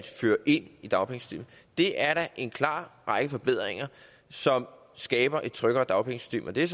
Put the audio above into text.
føre ind i dagpengesystemet det er da en klar række af forbedringer som skaber et tryggere dagpengesystem og det